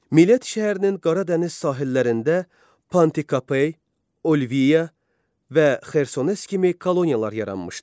Millet şəhərinin Qara dəniz sahillərində Pantikapey, Olviya və Xersones kimi koloniyalar yaranmışdı.